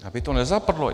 Aby to nezapadlo.